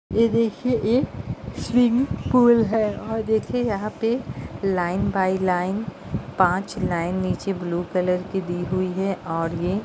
ये देखिए ये स्विमिंग पूल है और देखिए यहां पे लाइन बाई लाइन पांच लाइन नीचे ब्लू कलर की दी हुई है और ये --